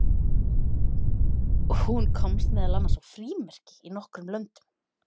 Hún komst meðal annars á frímerki í nokkrum löndum.